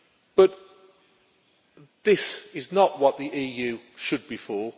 But this is not what the EU should be for.